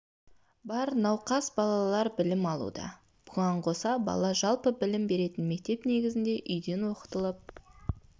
бар науқас балалар білім алуда бұған қоса бала жалпы білім беретін мектеп негізінде үйден оқытылып